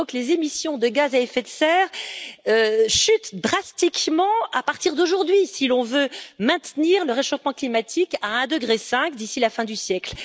Il faut que les émissions de gaz à effet de serre chutent drastiquement à partir d'aujourd'hui, si l'on veut maintenir le réchauffement climatique à 1,5 degré, d'ici la fin du siècle.